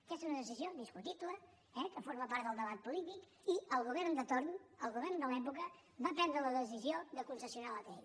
aquesta és una decisió discutible eh que forma part del debat polític i el govern de torn el govern de l’època va prendre la decisió de concessionar l’atll